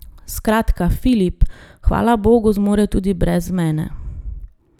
Skratka, Filip, hvala bogu, zmore tudi brez mene.